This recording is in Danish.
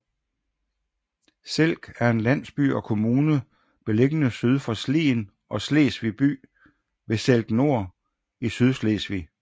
Selk er en landsby og kommune beliggende syd for Slien og Slesvig by ved Selk Nor i Sydslesvig